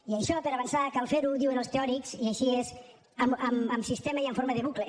i això per a avançar cal fer ho diuen els teòrics i això és en sistema i en forma de bucle